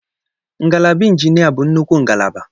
Ngalaba Injinia bụ nnukwu ngalaba.